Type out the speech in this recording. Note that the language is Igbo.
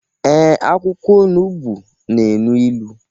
Ee, akwụkwọ onugbu na enu ilu